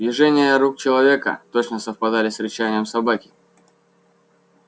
движения рук человека точно совпадали с рычанием собаки